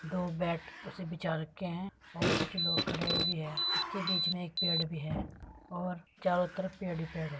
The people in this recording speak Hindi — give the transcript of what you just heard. दो बैड उसे बिछा रखे है और कुछ लोग खड़े हुए भी है इसके बीच मे एक पेड़ भी है और चारों तरफ पेड़ ही पेड़ है।